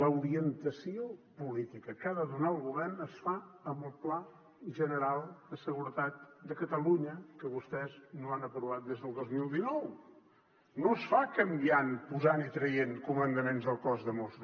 l’orientació política que ha de donar el govern es fa amb el pla general de seguretat de catalunya que vostès no han aprovat des del dos mil dinou no es fa canviant posant i traient comandaments del cos de mossos